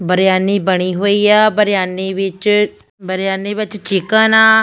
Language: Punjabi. ਬਰਿਆਨੀ ਬਣੀ ਹੋਈ ਆ ਬਰਿਆਨੀ ਵਿੱਚ ਬਰਿਆਨੀ ਵਿੱਚ ਚੀਕਨ ਅ।